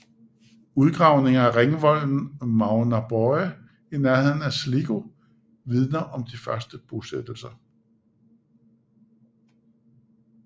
Udgravningerne af ringvolden Magheraboy i nærheden af Sligo vidner om de første bosættelser